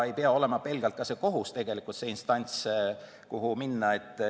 Ei pea olema ka pelgalt kohus see instants, kuhu minna.